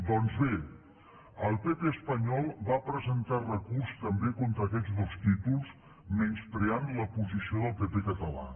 doncs bé el pp espanyol va presentar recurs també contra aquests dos títols menyspreant la posició del pp català